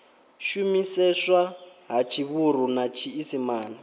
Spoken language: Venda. shumiseswa ha tshivhuru na tshiisimane